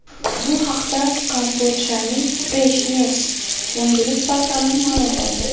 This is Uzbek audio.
Bu haqda Kambodjaning Fresh News yangilik portali ma’lum qildi .